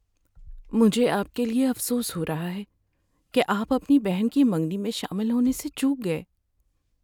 مجھے آپ کے لیے افسوس ہو رہا ہے کہ آپ اپنی بہن کی منگنی میں شامل ہونے سے چوک گئے۔